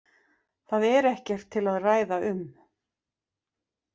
Það er ekkert til að ræða um.